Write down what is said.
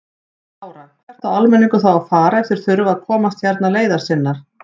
Lára: Hvert á almenningur þá að fara ef þeir þurfa að komast hérna leiðar sinnar?